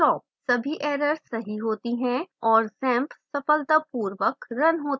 सभी एरर सही होती है और xampp सफलतापूर्वक रन होता है